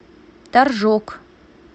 торжок